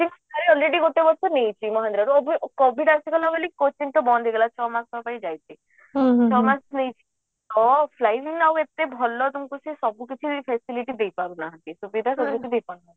coaching already ଗୋଟେ ଗୋଟେ ନେଇଛି ମହିନ୍ଦ୍ରା covid ତ ଆସିଗଲା ବୋଲି coaching ତ ବନ୍ଦ ହେଇଗଲା ଛଅ ମାସ ପାଇଁ ଯାଇଥିଲି ଆଉ ଏତେ ଭଲ ସବୁକିଛି ସବୁକିଛି facility ଦେଇପାରୁ ନାହାନ୍ତି ସୁବିଧା ସୁଯୋଗ ଦେଇ ପାରୁନାହାନ୍ତି